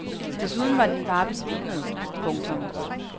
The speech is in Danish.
Desuden var din far besvimet. punktum